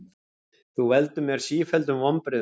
Þú veldur mér sífelldum vonbrigðum.